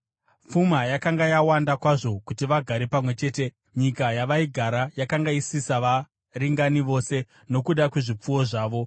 Pfuma yakanga yawanda kwazvo kuti vagare pamwe chete; nyika yavaigara yakanga isisavaringani vose nokuda kwezvipfuwo zvavo.